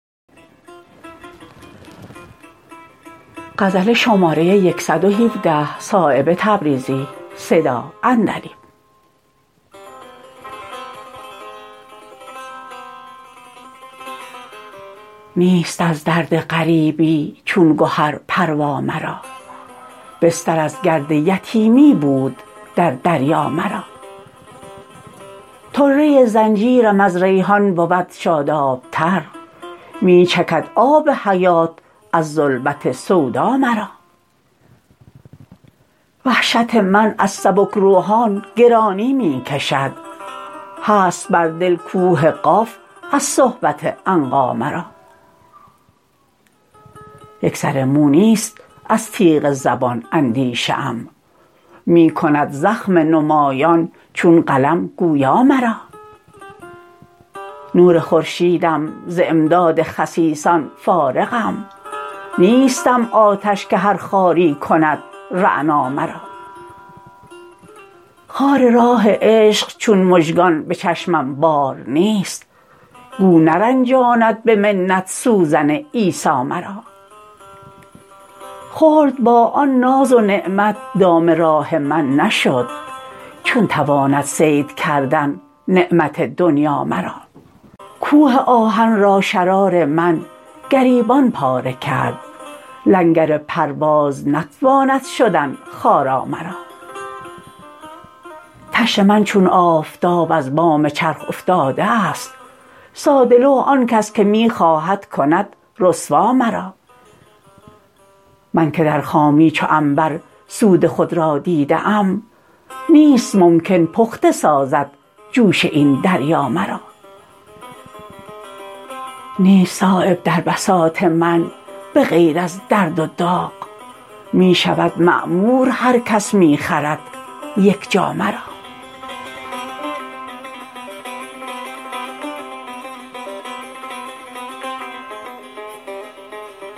نیست از درد غریبی چون گهر پروا مرا بستر از گرد یتیمی بود در دریا مرا طره زنجیرم از ریحان بود شاداب تر می چکد آب حیات از ظلمت سودا مرا وحشت من از سبکروحان گرانی می کشد هست بر دل کوه قاف از صحبت عنقا مرا یک سر مو نیست از تیغ زبان اندیشه ام می کند زخم نمایان چون قلم گویا مرا نور خورشیدم ز امداد خسیسان فارغم نیستم آتش که هر خاری کند رعنا مرا خار راه عشق چون مژگان به چشمم بار نیست گو نرنجاند به منت سوزن عیسی مرا خلد با آن ناز و نعمت دام راه من نشد چون تواند صید کردن نعمت دنیا مرا کوه آهن را شرار من گریبان پاره کرد لنگر پرواز نتواند شدن خارا مرا طشت من چون آفتاب از بام چرخ افتاده است ساده لوح آن کس که می خواهد کند رسوا مرا من که در خامی چو عنبر سود خود را دیده ام نیست ممکن پخته سازد جوش این دریا مرا نیست صایب در بساط من به غیر از درد و داغ می شود معمور هر کس می خرد یک جا مرا